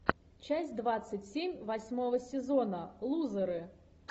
часть двадцать семь восьмого сезона лузеры